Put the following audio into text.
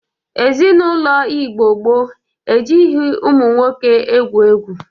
Ezinaụlọ Igbo gboo e jighi ụmụ nwoke egwu egwu.